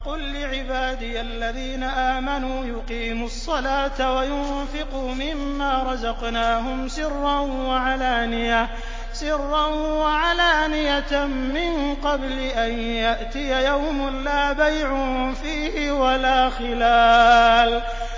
قُل لِّعِبَادِيَ الَّذِينَ آمَنُوا يُقِيمُوا الصَّلَاةَ وَيُنفِقُوا مِمَّا رَزَقْنَاهُمْ سِرًّا وَعَلَانِيَةً مِّن قَبْلِ أَن يَأْتِيَ يَوْمٌ لَّا بَيْعٌ فِيهِ وَلَا خِلَالٌ